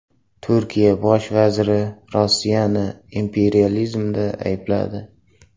Turkiya bosh vaziri Rossiyani imperializmda aybladi .